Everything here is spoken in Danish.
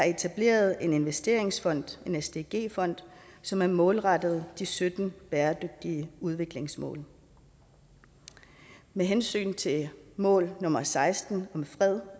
etableret en investeringsfond en sdg fond som er målrettet de sytten bæredygtige udviklingsmål med hensyn til mål nummer seksten om